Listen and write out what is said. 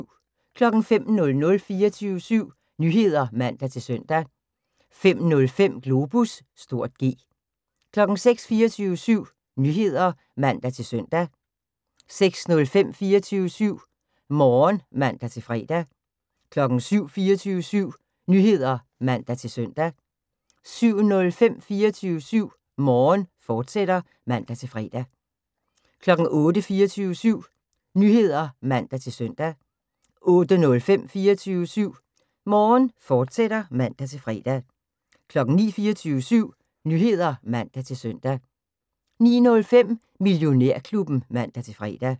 05:00: 24syv Nyheder (man-søn) 05:05: Globus (G) 06:00: 24syv Nyheder (man-søn) 06:05: 24syv Morgen (man-fre) 07:00: 24syv Nyheder (man-søn) 07:05: 24syv Morgen, fortsat (man-fre) 08:00: 24syv Nyheder (man-søn) 08:05: 24syv Morgen, fortsat (man-fre) 09:00: 24syv Nyheder (man-søn) 09:05: Millionærklubben (man-fre)